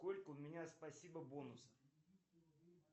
сколько у меня спасибо бонусов